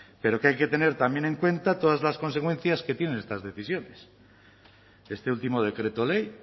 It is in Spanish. pero que hay que tener también en cuenta todas las consecuencias que tienen estas decisiones este último decreto ley